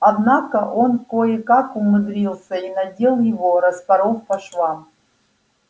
однако он кое-как умудрился и надел его распоров по швам